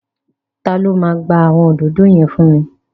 Ta ló máa gba àwọn òdòdó yẹn fún mi?